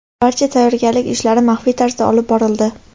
Barcha tayyorgarlik ishlari maxfiy tarzda olib borildi.